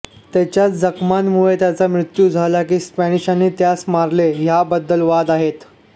त्याच्या जखमांमुळे त्याचा मृत्यू झाला की स्पॅनिशांनी त्यास मारले ह्यांबद्दल वाद आहेत